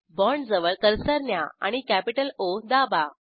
बाँडजवळ cursor न्या आणि capital O दाबा